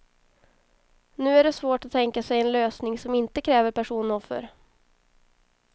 Nu är det svårt att tänka sig en lösning som inte kräver personoffer.